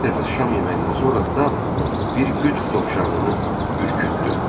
Bir dəfə şam yeməyindən sonra Dab bir qütb dovşanını ürkütdü.